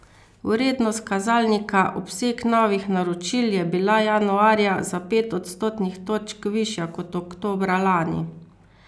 Vrednost kazalnika obseg novih naročil je bila januarja za pet odstotnih točk višja kot oktobra lani.